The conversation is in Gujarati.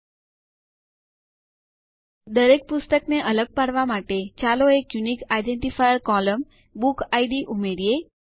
દરેક પુસ્તકને અલગ પાડવા માટે ચાલો એક અનન્ય ઓળખકર્તા સ્તંભ એટલે કે યુનિક આઇડેન્ટિફાયર કોલમ્ન બુકિડ ઉમેરીએ